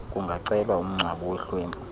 kungacelwa umngcwabo wehlwempu